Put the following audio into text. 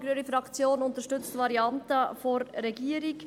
Die grüne Fraktion unterstützt die Variante der Regierung.